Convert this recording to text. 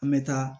An bɛ taa